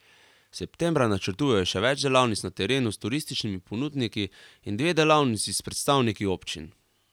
Septembra načrtujejo še več delavnic na terenu s turističnimi ponudniki in dve delavnici s predstavniki občin.